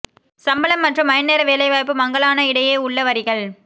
சம்பளம் மற்றும் மணி நேர வேலைவாய்ப்பு மங்கலான இடையே உள்ள வரிகள்